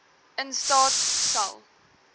in staat sal